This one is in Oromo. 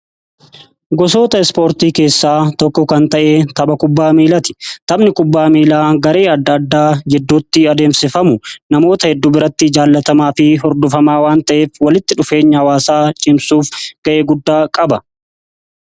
Gosoota ispoortii keessaa tokko kan ta'ee tapha kubbaa miilaati. Taphni kubbaa miilaa garee adda addaa jidduutti adeemsifama. Namoota hedduu biratti jaallatamaa fi hordofama waan ta'eef walitti dhufeenya hawaasaa cimsuuf ga'ee guddaa qaba.